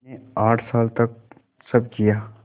मैंने आठ साल तक सब किया